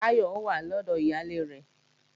Táyọ̀ wà lọ́dọ̀ ìyálé rẹ̀